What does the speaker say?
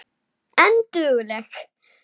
En dugleg.